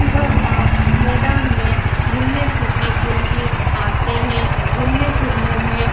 बरसात मैदान में घुमने फिरने के लिए आते हैंघुमने फिरने में --